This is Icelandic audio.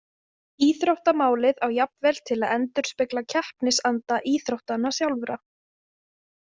Íþróttamálið á jafnvel til að endurspegla keppnisanda íþróttanna sjálfra.